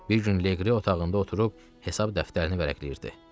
Bir gün Leqri otağında oturub hesab dəftərini vərəqləyirdi.